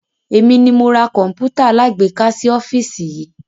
Èmi ni mo ra Kọ̀npútà alágbéká sì ọ́fíìsì yii